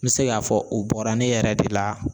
N be se ka fɔ , o bɔra ne yɛrɛ de la.